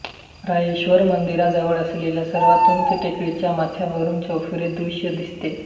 रायरेश्वर मंदिराजवळ असलेल्या सर्वात उंच टेकडीच्या माथ्यावरून चौफेर दृश्य दिसते